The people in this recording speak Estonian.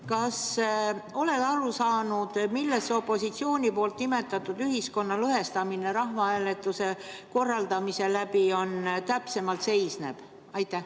Kas sa oled aru saanud, milles opositsiooni nimetatud ühiskonna lõhestamine rahvahääletuse korraldamisel täpsemalt seisneb?